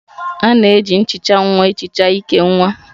A na-eji nhicha nwa ehicha íkè nwa